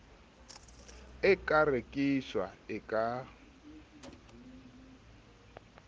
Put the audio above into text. e ka rekiswang e ka